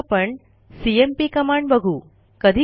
आता आपणcmp कमांड बघू